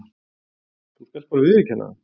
Þú skalt bara viðurkenna það!